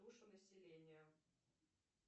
душу населения